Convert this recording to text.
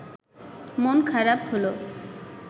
মন খারাপ হলো